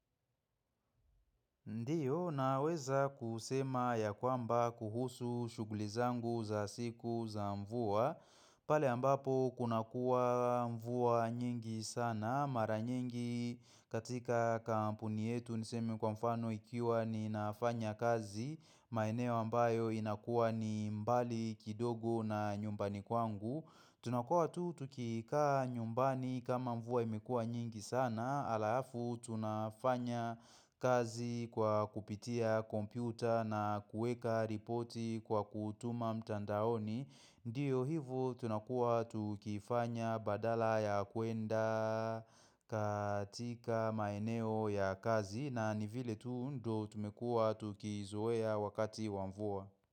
Ndiyo, naweza kusema ya kwamba kuhusu shughuli zangu za siku za mvua. Pale ambapo, kunakua mvua nyingi sana. Mara nyingi katika kampuni yetu niseme kwa mfano ikiwa ninafanya kazi. Maeneo ambayo inakuwa ni mbali kidogo na nyumbani kwangu. Tunakua tu, tukikaa nyumbani kama mvua imekua nyingi sana. Na alafu tunafanya kazi kwa kupitia kompyuta na kuweka ripoti kwa kutuma mtandaoni. Ndiyo hivyo tunakua tukifanya badala ya kwenda katika maeneo ya kazi na nivile tu ndo tumekua tukizoea wakati wa mvua.